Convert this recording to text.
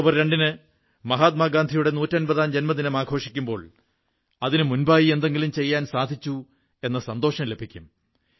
October 2 ന് മഹാത്മാഗാന്ധിയുടെ നൂറ്റമ്പതാം ജന്മദിനം ആഘോഷിക്കുമ്പോൾ അതിനു മുമ്പായി എന്തെങ്കിലും ചെയ്യാൻ സാധിച്ചു എന്ന സന്തോഷം ലഭിക്കും